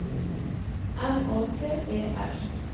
M Å T E R